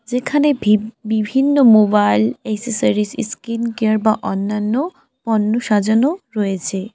যেখানে ভি বিভিন্ন মোবাইল এসেসরিজ ইস্কিন কেয়ার বা অন্যান্য পণ্য সাজানো রয়েছে।